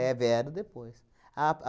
vieram depois. Ap